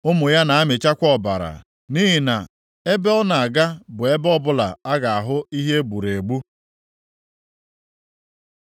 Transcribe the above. Ụmụ ya na-amịchakwa ọbara, nʼihi na ebe ọ na-aga bụ ebe ọbụla ọ ga-ahụ ihe e gburu egbu.”